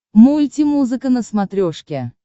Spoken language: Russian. мульти музыка на смотрешке